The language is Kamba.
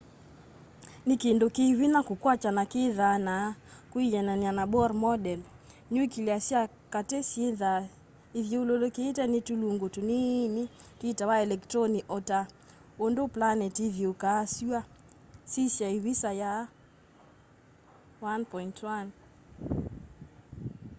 nĩkĩndũ kĩ vĩnya kũkwatya na kĩthaa na kwĩanana na bohr model nĩũkĩlĩa sya katĩ syĩthaa ĩthyũlũlũkĩtwe nĩ tũlũngũ tũnĩnĩ twitawa elekĩtronĩ ota ũndũ planetĩ ĩthĩũkaa sũa sĩsya ĩvĩsa ya 1.1